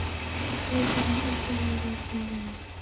Leikurinn útí veður og vind